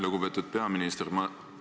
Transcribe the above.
Lugupeetud peaminister!